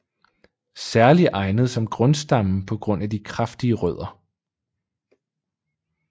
Særligt egnet som grundstamme på grund af de kraftige rødder